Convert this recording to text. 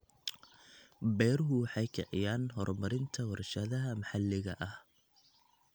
Beeruhu waxay kiciyaan horumarinta warshadaha maxalliga ah.